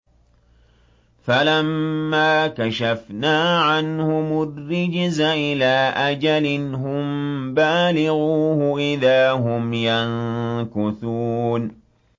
فَلَمَّا كَشَفْنَا عَنْهُمُ الرِّجْزَ إِلَىٰ أَجَلٍ هُم بَالِغُوهُ إِذَا هُمْ يَنكُثُونَ